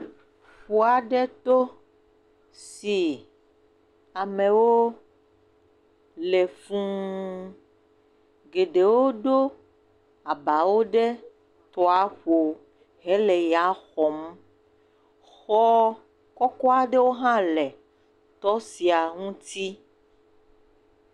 Ƒua ɖe to si amewo le fū, geɖewo ɖo abawo ɖe tɔaƒo, he le ya xɔm, xɔ kɔkɔa ɖewo hã le tɔ sia ŋuti.